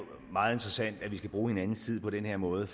meget interessant at vi skal bruge hinandens tid på den her måde